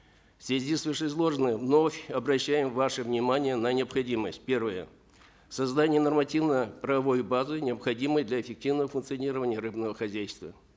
в связи с вышеизложенным вновь обращаем ваше внимание на необходимость первое создание нормативно правовой базы необходимой для эффективного функционирования рыбного хозяйства